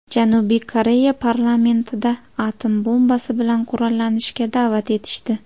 Janubiy Koreya parlamentida atom bombasi bilan qurollanishga da’vat etishdi.